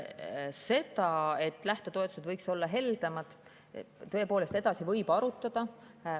Seda, et lähtetoetused võiksid olla heldemad, võib tõepoolest arutada.